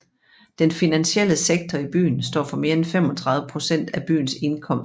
Den finansielle sektor i byen står for mere end 35 procent af byens indkomst